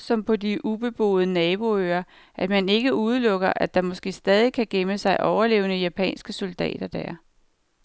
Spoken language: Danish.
som på de ubeboede naboøer, at man ikke udelukker, at der måske stadig kan gemme sig overlevende japanske soldater der.